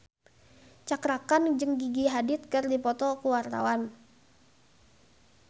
Cakra Khan jeung Gigi Hadid keur dipoto ku wartawan